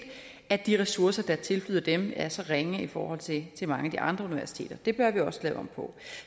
at de ressourcer der tilflyder dem er så ringe i forhold til mange af de andre universiteters det bør vi også lave om på